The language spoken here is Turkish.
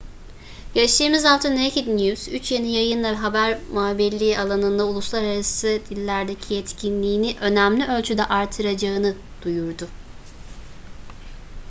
geçtiğimiz hafta naked news üç yeni yayınla haber muhabirliği alanında uluslararası dillerdeki yetkinliğini önemli ölçüde artıracağını duyurdu